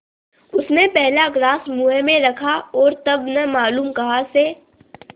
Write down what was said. उसने पहला ग्रास मुँह में रखा और तब न मालूम कहाँ से